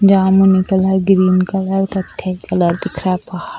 जामुन colour green colour कत्थे colour दिख रहा है --